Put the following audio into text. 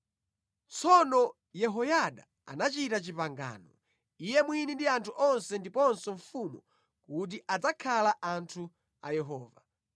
Tsono Yehoyada anachita pangano, iye mwini ndi anthu onse ndiponso mfumu kuti adzakhala anthu a Yehova.